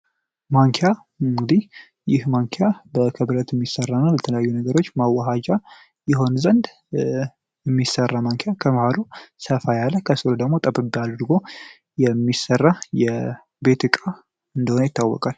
ማንኪያ ንግዲህ ይህ ማንኪያ በከብረት የሚሠራነ በተለያዩ ነገሮች ማውሃጃ ይሆን ዘንድ የሚሰራ ማንኪያ ከመህሎ ሰፋ ያለ ከስሎ ደግሞ ጠብቢ አድርጎ የሚሰራ የቤትቃ እንደሆነ ይታወቃል